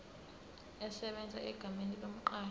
esebenza egameni lomqashi